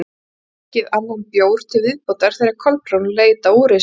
Þau höfðu drukkið annan bjór til viðbótar þegar Kolbrún leit á úrið sitt.